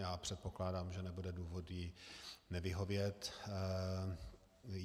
Já předpokládám, že nebude důvod jí nevyhovět.